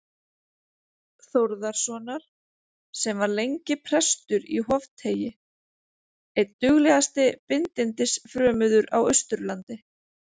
Þórðarsonar, sem var lengi prestur í Hofteigi, einn duglegasti bindindis- frömuður á Austurlandi.